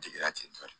Jigira tentɔ